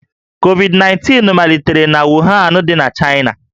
Covid-19 malitere na Wuhan dị n'Chaịna